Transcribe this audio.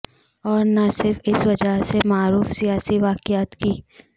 اور نہ صرف اس وجہ سے معروف سیاسی واقعات کی